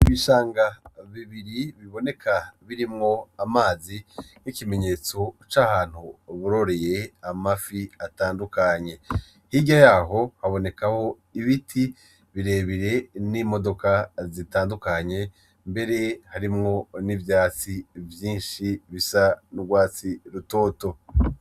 Ibishanga bibiri biboneka birimwo amazi nkikimenyetso cahantu bororeye amafi atandukanye hirya yaho haboneka ibiti birebire n'imodoka zitandukanye mbere harimwo nivyatsi vyinshi bisa n'ugwatsi rutoto.